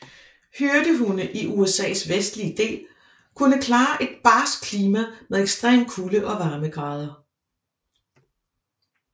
Hyrdehunde i USAs vestlige del kunne klare et barskt klima med ekstreme kulde og varmegrader